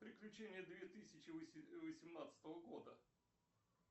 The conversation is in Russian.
приключения две тысячи восемнадцатого года